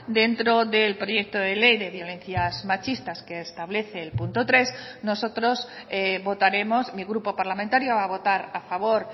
dentro del proyecto de ley de violencias machistas que establece el punto tres nosotros votaremos mi grupo parlamentario va a votar a favor